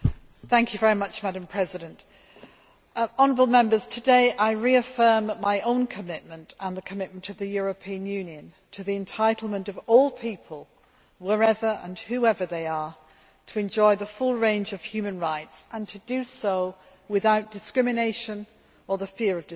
Madam President, honourable Members, today I reaffirm my own commitment and the commitment of the European Union to the entitlement of all people, wherever and whoever they are, to enjoy the full range of human rights and to do so without discrimination or the fear of discrimination.